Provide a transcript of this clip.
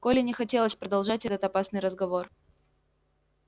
коле не хотелось продолжать этот опасный разговор